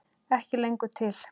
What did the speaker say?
Ekki lengur til!